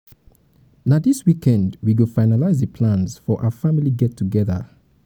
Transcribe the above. na dis weekend we go finalize the plans for our family get togeda